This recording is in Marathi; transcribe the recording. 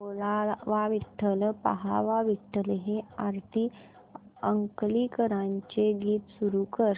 बोलावा विठ्ठल पहावा विठ्ठल हे आरती अंकलीकरांचे गीत सुरू कर